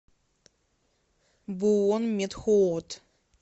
буонметхуот